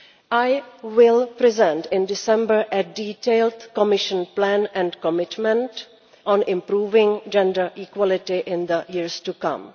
I will present in December a detailed Commission plan and commitment on improving gender equality in the years to come.